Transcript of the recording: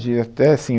E até assim